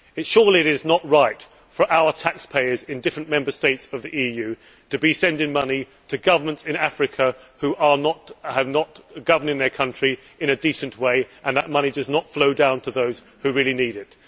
Surely it is not right for our taxpayers in different Member States of the EU to be sending money to governments in Africa who are not governing their country in a decent way and that money does not flow down to those who really need it.